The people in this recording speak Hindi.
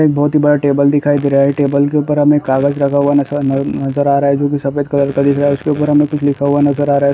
एक बहुत ही बड़ा टेबल दिखाई दे रहा है टेबल के ऊपर हमे कागज लगा हुआ नज-- नज़र आ रहा है जो कि सफेद कलर का दिख रहा है उसके उपर हमे कुछ लिखा हुआ नज़र आ रहा है।